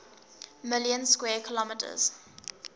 million square kilometers